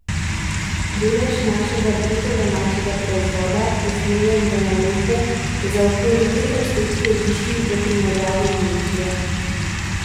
Delež našega bruto domačega proizvoda, usmerjen v naložbe, je za okoli tri odstotke višji v primerjavi z Nemčijo.